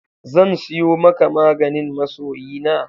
Zan siyo maka maganin masoyina.